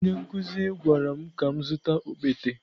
Onye nkụzi gwara m ka m zụta okpete.